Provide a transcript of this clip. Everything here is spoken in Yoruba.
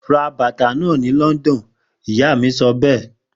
Ra bàtà náà ni London! Ìyá mí sọ pé.